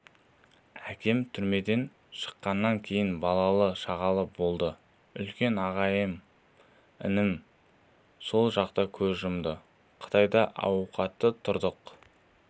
әкем түрмеден шыққаннан кейін балалы-шағалы болды үлкен ағайым інім сол жақта көз жұмды қытайда ауқатты тұрдық